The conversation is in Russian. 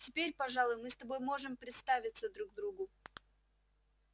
теперь пожалуй мы с тобой можем представиться друг другу